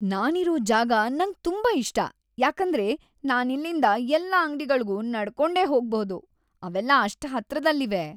ನಾನಿರೋ ಜಾಗ ನಂಗ್‌ ತುಂಬಾ ಇಷ್ಟ ಯಾಕಂದ್ರೆ ನಾನಿಲ್ಲಿಂದ ಎಲ್ಲ ಅಂಗ್ಡಿಗಳ್ಗೂ ನಡ್ಕೊಂಡೇ ಹೋಗ್ಬಹುದು, ಅವೆಲ್ಲ ಅಷ್ಟ್‌ ಹತ್ರದಲ್ಲಿವೆ.